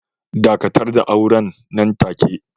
Dakatar da auren nan take.